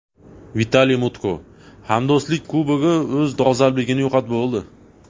Vitaliy Mutko: Hamdo‘stlik Kubogi o‘z dolzarbligini yo‘qotib bo‘ldi.